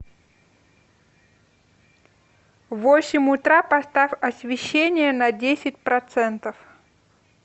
в восемь утра поставь освещение на десять процентов